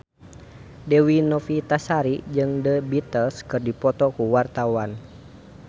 Dewi Novitasari jeung The Beatles keur dipoto ku wartawan